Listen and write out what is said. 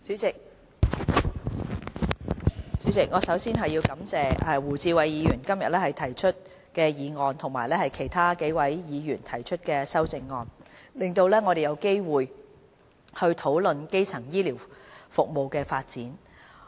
代理主席，首先，我要感謝胡志偉議員今天提出議案及其他數位議員提出修正案，令我們有機會討論基層醫療服務的發展。